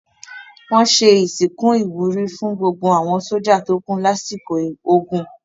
Wọ́n ṣe ìsìnkú ìwúrí fún gbogbo àwọn sójà tó kú lásìkò ogun.